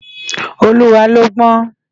Oluwa lò gbòn